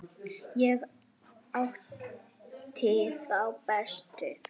Ég átti þá bestu.